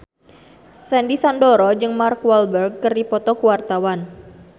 Sandy Sandoro jeung Mark Walberg keur dipoto ku wartawan